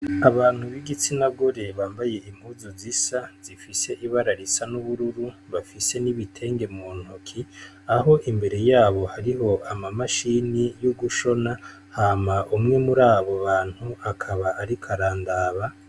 Abantu b'igitsina gore bambaye impuzu zisa, zifise ibara risa n'ubururu, bafise n'ibitenge mu ntoki aho imbere yabo hariho ama mashini yo gushona hama umwe muri abo bantu akaba ariko arandaba.